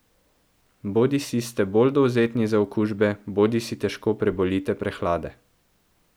Bodisi ste bolj dovzetni za okužbe bodisi težko prebolite prehlade.